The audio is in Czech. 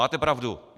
Máte pravdu.